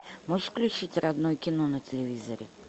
можешь включить родное кино на телевизоре